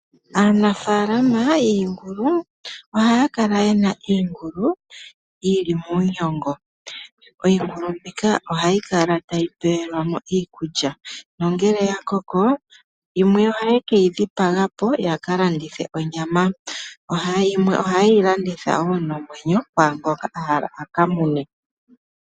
Aanafaalama yiingulu ohaya kala yena iingulu yili muunyongo/miigunda. Iingulu mbika ohayi kala tayi pewelwamo iikulya nongele yakoko yimwe ohaye keyidhipagapo ya kalandithe onyama . Yimwe ohayeyi landitha woo nomwenyo kwaangoka ahala akamune.